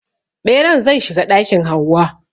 Ɓeran zai shiga ɗakin Hauwa.